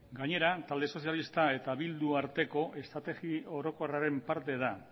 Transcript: gainera talde sozialista eta bildu arteko estrategi orokorraren parte da